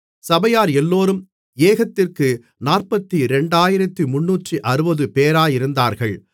சபையார் எல்லோரும் ஏகத்திற்கு 42360 பேராயிருந்தார்கள்